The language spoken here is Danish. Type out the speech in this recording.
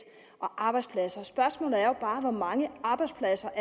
og arbejdspladser spørgsmålet er jo bare hvor mange arbejdspladser